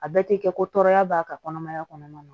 A bɛɛ tɛ kɛ ko tɔɔrɔya b'a ka kɔnɔmaya kɔnɔna na